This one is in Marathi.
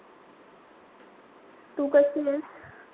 तू कशीएस?